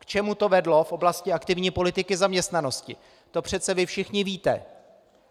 K čemu to vedlo v oblasti aktivní politiky zaměstnanosti, to přece vy všichni víte.